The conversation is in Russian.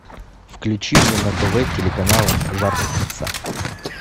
включи мне на тв телеканал жар птица